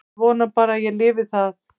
Ég vona bara að ég lifi það.